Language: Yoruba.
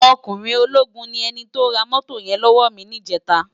Òkúnrin ólógún ni èni tó rá mótó yèn lòwò mi nijètá